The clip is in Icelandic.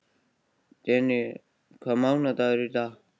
Deníel, hvaða mánaðardagur er í dag?